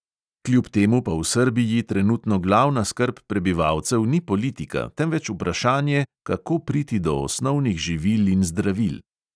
Kljub temu pa v srbiji trenutno glavna skrb prebivalcev ni politika, temveč vprašanje, kako priti do osnovnih živil in zdravil.